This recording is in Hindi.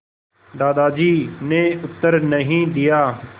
दादाजी ने उत्तर नहीं दिया